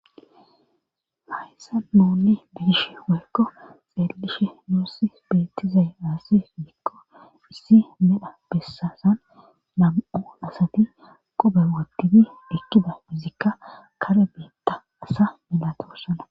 Hayssa nuunni biish woykko xeellishe nuussi bettizay aasi fidikko issi medha bessasan nam7u asati qube wottidi ekkida izikka kare beetta asa melhatossana.